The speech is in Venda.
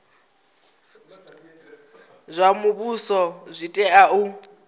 zwa muvhuso zwi tea u